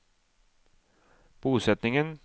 bosetningen